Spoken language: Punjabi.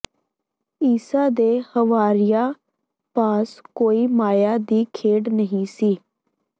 ਈਸਾ ਦੇ ਹਵਾਰੀਆਂ ਪਾਸ ਕੋਈ ਮਾਇਆ ਦੀ ਖੇਡ ਨਹੀਂ ਸੀ